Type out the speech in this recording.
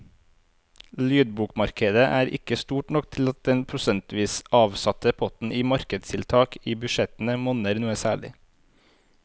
Lydbokmarkedet er ikke stort nok til at den prosentvis avsatte potten til markedstiltak i budsjettene monner noe særlig.